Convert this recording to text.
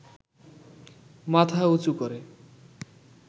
মাথা উঁচু করে